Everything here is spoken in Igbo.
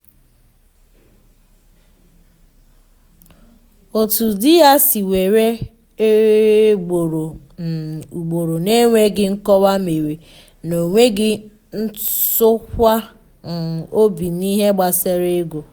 otu di ya si ewere eo ugboro um ugboro n’enweghị nkọwa mere na enweghị ntụkwasị um obi n’ihe gbasara ego